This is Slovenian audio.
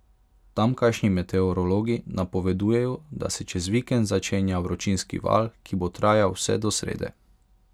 Tamkajšnji meteorologi napovedujejo, da se čez vikend začenja vročinski val, ki bo trajal vse do srede.